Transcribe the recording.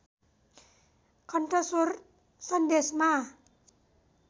कन्ठस्वर सन्देशमा